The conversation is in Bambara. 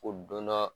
Ko don dɔ